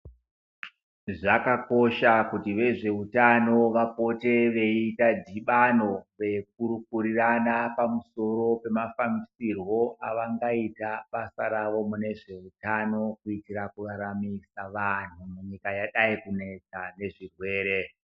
Zvakakosha kuti vezvehutano vapote veita dhibano kukurukura pamusoro pemafambisirwo avangaita basa ravo mune zvehutano kuitira kuraramisa anhu munyika yakadai kunetsa nezvirwere.